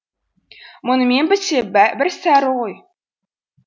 мұнымен бітсе бір сәрі ғой